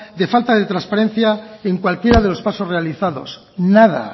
de falta de transparencia en cualquiera de los pasos realizados nada